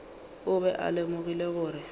o be a lemogile gore